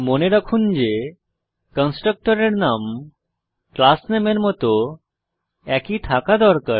মনে রাখুন যে কনস্ট্রাক্টরের নাম ক্লাস নামের মত একই থাকা দরকার